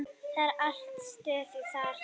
Það er alltaf stuð þar.